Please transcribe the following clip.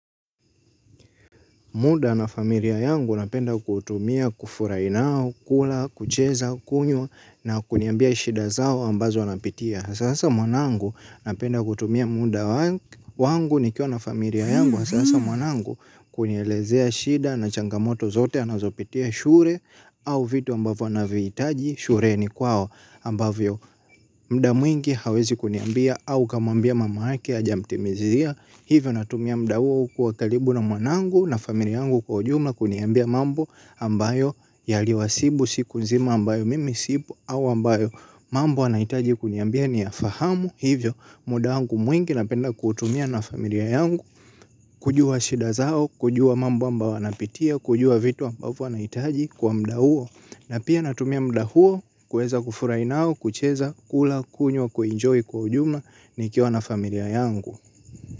Muda na familia yangu napenda kuutumia, kufurahi nao, kula, kucheza, kunywa na kuniambia shida zao ambazo wanapitia. Sasa mwanangu napenda kutumia muda wangu nikiwa na familia yangu. Sasa mwanangu kunielezea shida na changamoto zote anazopitia shule au vitu ambavyo anavihitaji shuleni kwao. Ambavyo muda mwingi hawezi kuniambia au kamwambia mamake hajamtimizia hivyo natumia muda huo kuwa karibu na mwanangu na familia yangu kwa ujumla kuniambia mambo ambayo yaliwasibu siku nzima ambayo mimi sipo au ambayo mambo anahitaji kuniambia ni ya fahamu hivyo muda wangu mwingi napenda kuutumia na familia yangu kujua shida zao kujua mambo ambayo anapitia kujua vitu ambavyo anahitaji kwa muda huo. Na pia natumia muda huo kuweza kufurahi nao, kucheza, kula, kunywa, kuenjoy kwa ujumla nikiwa na familia yangu.